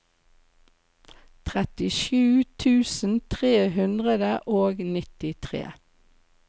trettisju tusen tre hundre og nittitre